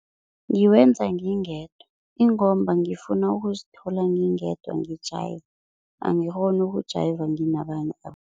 Ngiwenza ngingedwa ingomba ngifuna ukuzithola ngingedwa ngi-jayiva, angikghoni ukujayiva nginabanye